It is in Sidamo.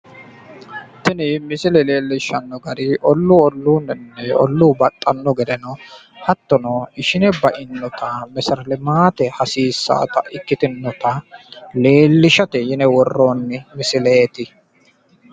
Tini misile leellishanno gari olluu olluniwiinni olluu baxxanno gedeno hattono ishine bainota meseretelimaate hasiissannota ikkitinota leellishate yine worrooonni misileeti.